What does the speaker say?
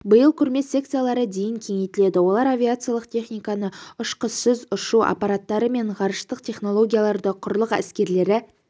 биыл көрме секциялары дейін кеңейтіледі олар авиациялық техниканы ұшқышсыз ұшу аппараттары мен ғарыштық технологияларды құрлық әскерлері